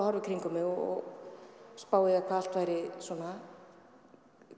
horfa í kringum mig og spá í það hvað allt væri svona